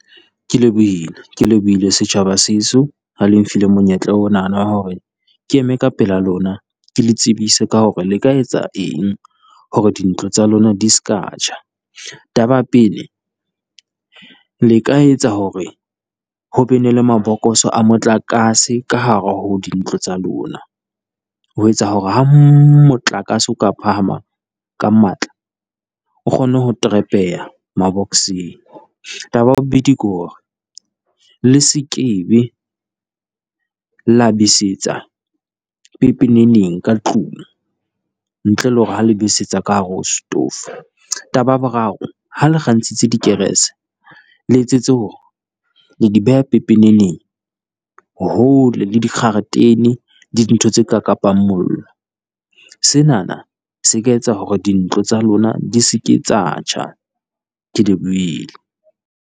Ke lebohile ke lebohile setjhaba seso ha le nfile monyetla onana wa hore, ke eme ka pela lona ke le tsebise ka hore le ka etsa eng hore dintlo tsa lona di se ka tjha. Taba ya pele, le ka etsa hore ho be ne le mabokoso a motlakase ka hare ho dintlo tsa lona, ho etsa hore ha motlakase o ka phahama ka matla, o kgone ho trap-eha mabokoseng. Taba ya bobedi ke hore le se ke be la besetsa pepeneneng ka tlung, ntle le hore ha le besetsa ka hare ho stove. Taba ya boraro, ha le kgantshitse dikerese, le etsetse hore le di beha pepeneneng hole le dikgaretene, le dintho tse ka kapang mollo. Senana se ka etsa hore dintlo tsa lona di se ke tsa tjha, ke lebohile.